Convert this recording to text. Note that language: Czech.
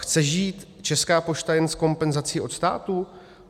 Chce žít Česká pošta jen z kompenzací od státu?